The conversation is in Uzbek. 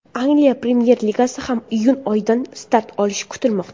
Angliya Premyer Ligasi ham iyun oyidan start olish kutilmoqda .